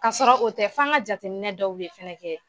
Kasɔrɔ o tɛ f'an ŋa jateminɛ dɔw de fɛnɛ kɛ.